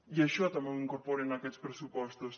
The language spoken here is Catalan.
i això també ho incorporen aquests pressupostos